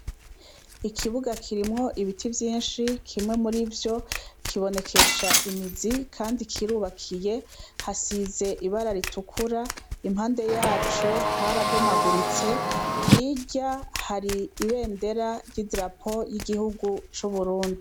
Ikibuga kirimwo ibiti vyishi, kimwe murivyo, kibonekesha imizi kandi kirubakiye, hasize ibara ritukura, impande yaco harabomaguritse ,hirya hari ibendera ry'idarapo y'igihugu c'uburundi.